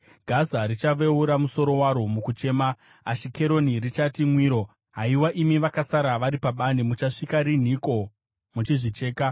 Gaza richaveura musoro waro mukuchema; Ashikeroni richati mwiro. Haiwa, imi vakasara vari pabani, muchapedza nguva yakadiiko muchizvicheka?